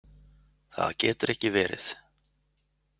Það getur ekki verið.